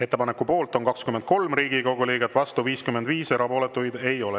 Ettepaneku poolt on 23 Riigikogu liiget, vastu 55, erapooletuid ei ole.